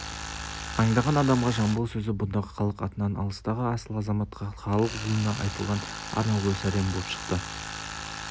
аңдаған адамға жамбыл сөзі бұндағы халық атынан алыстағы асыл азаматқа халық ұлына айтылған арнаулы сәлем боп шықты